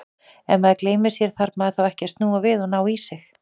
Ef maður gleymir sér, þarf maður þá ekki að snúa við og ná í sig?